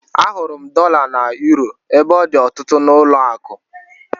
Ahụrụ m dọla na yuro ebe ọ dị ọtụtụ n'ụlọakụ